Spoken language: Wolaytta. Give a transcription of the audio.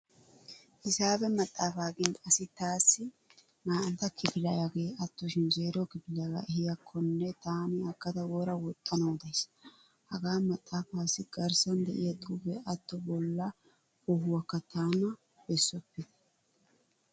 Hisaabe maxaafa gin asi taassi naa"antta kifiliyage attoshin zeero kifiliyaaga ehiyaakkonne taani aggada wora woxxanawu days. Hagaa maxaafaassi garssan de'iyaa xuufe atto bolla koohuwaakka tana bessopite.